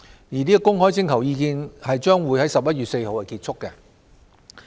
而公開徵求意見將於11月4日結束。